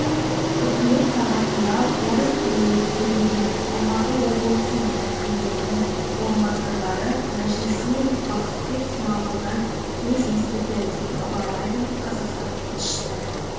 үкімет сағатында орыс тілінде сөйлеген алматы облысы мен әкімдерінің орынбасарлары мәжілісмен бақытбек смағұлдан сөз естіді деп хабарлайды қазақстан тілшісі